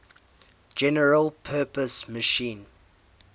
general purpose machine